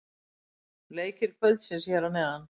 Leikir kvöldsins hér að neðan: